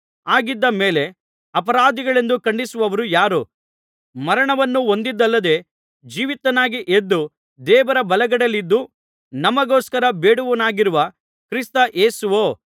ಹಾಗಿದ್ದ ಮೇಲೆ ಅಪರಾಧಿಗಳೆಂದು ಖಂಡಿಸುವವರು ಯಾರು ಮರಣವನ್ನು ಹೊಂದಿದ್ದಲ್ಲದೆ ಜೀವಿತನಾಗಿ ಎದ್ದು ದೇವರ ಬಲಗಡೆಯಲ್ಲಿದ್ದು ನಮಗೋಸ್ಕರ ಬೇಡುವವನಾಗಿರುವ ಕ್ರಿಸ್ತ ಯೇಸುವೋ